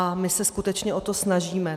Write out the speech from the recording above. A my se skutečně o to snažíme.